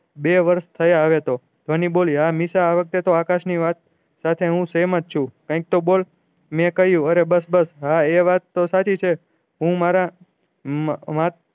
બે વર્ષ થયા હવે તો ધ્વની બોલી આ વખતે આકાશ ની વાત સાથ હું સહમત છું કાયિક તો બોલ મેં કહ્યું અરે બસ બસ હા એ વાત તો સાચી છે હું મારા